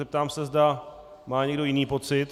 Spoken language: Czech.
Zeptám se, zda má někdo jiný pocit.